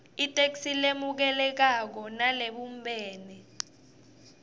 itheksthi lemukelekako nalebumbene